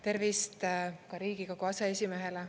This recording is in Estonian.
Tervist ka Riigikogu aseesimehele!